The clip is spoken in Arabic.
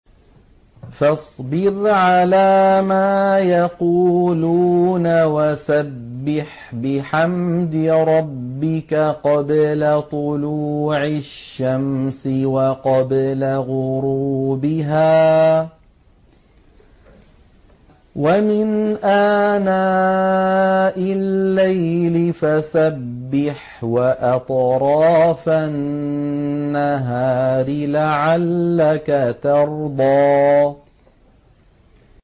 فَاصْبِرْ عَلَىٰ مَا يَقُولُونَ وَسَبِّحْ بِحَمْدِ رَبِّكَ قَبْلَ طُلُوعِ الشَّمْسِ وَقَبْلَ غُرُوبِهَا ۖ وَمِنْ آنَاءِ اللَّيْلِ فَسَبِّحْ وَأَطْرَافَ النَّهَارِ لَعَلَّكَ تَرْضَىٰ